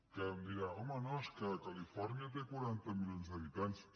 que em dirà home no és que califòrnia té quaranta milions d’habitants